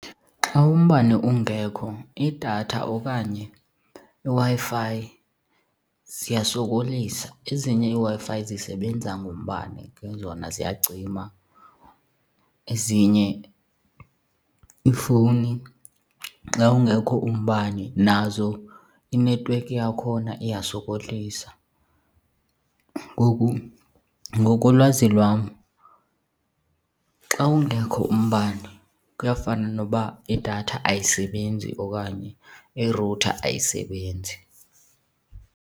Xa umbane ungekho idatha okanye iWi-Fi ziyasokolisa. Ezinye iiWi-Fi zisebenza ngombane, ke zona ziyacima. Ezinye iifowuni xa ungekho umbane nazo inethiwekhi yakhona iyasokolisa. Ngoku ngokolwazi lwam xa ungekho umbane kuyafana noba idatha ayisebenzi okanye i-router ayisebenzi.